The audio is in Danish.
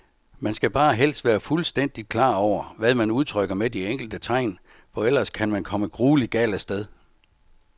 Man skal bare helst være fuldstændigt klar over, hvad man udtrykker med de enkelte tegn, for ellers kan man komme grueligt galt af sted.